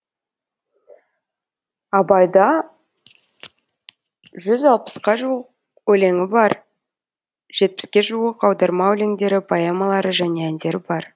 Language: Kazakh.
абайда жүз алпысқа жуық өлеңі бар жетпіске жуық аударма өлеңдері поэмалары және әндері бар